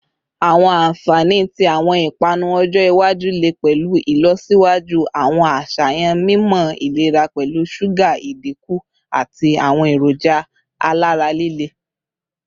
Awọn anfani ti awọn ipanu ọjọ iwaju le pẹlu ilọsiwaju awọn aṣayan mimọ ilera pẹlu suga idinku ati awọn eroja alara lile